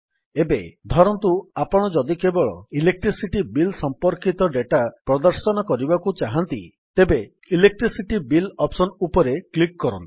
ଏବେ ଧରନ୍ତୁ ଆପଣ ଯଦି କେବଳ ଇଲେକ୍ଟ୍ରିସିଟି ବିଲ୍ ସମ୍ପର୍କିତ ଡେଟା ପ୍ରଦର୍ଶନ କରିବାକୁ ଚାହାନ୍ତି ତେବେ ଇଲେକ୍ଟ୍ରିସିଟି ବିଲ୍ ଅପ୍ସନ୍ ଉପରେ କ୍ଲିକ୍ କରନ୍ତୁ